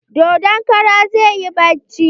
Dodon karan zai yi bacci.